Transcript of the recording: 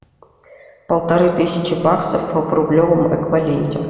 полторы тысячи баксов в рублевом эквиваленте